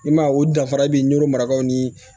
I ma ye u danfara i bi n'o marakaw ni